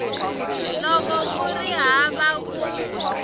loko ku ri hava ku